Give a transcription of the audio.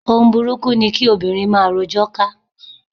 Ohun burúkú ni kí obìnrin máa rojọ́ ká.